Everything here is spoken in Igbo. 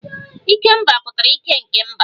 Ikemba pụtara ike nke mba